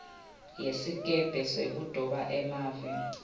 yesikebhe sekudoba semave